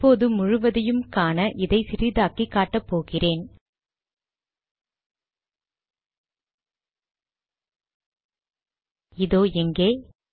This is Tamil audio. இப்போது முழுவதையும் காண இதை சிறிதாக்கி காட்டபோகிறேன் இதோ இங்கே